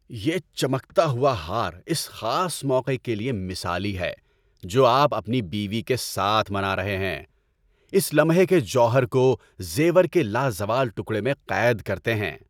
یہ چمکتا ہوا ہار اس خاص موقع کے لیے مثالی ہے جو آپ اپنی بیوی کے ساتھ منا رہے ہیں، اس لمحے کے جوہر کو زیور کے لازوال ٹکڑے میں قید کرتے ہیں۔